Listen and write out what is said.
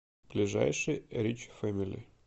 ближайший рич фэмили